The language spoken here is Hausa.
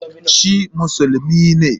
Shi musulmi ne?